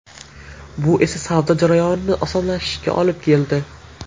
Bu esa savdo jarayoni osonlashishiga olib keldi.